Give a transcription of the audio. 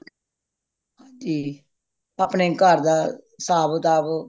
ਹਾਂਜੀ ਆਪਣੇ ਘਰ ਦਾ ਹਿਸਾਬ ਕਿਤਾਬ